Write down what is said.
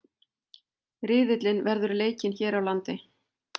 Riðillinn verður leikinn hér á landi